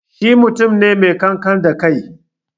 Shi mutum ne mai ƙanƙan da kai